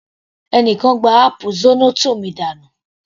Ẹni kan gbá áápù zornoto mi dànù.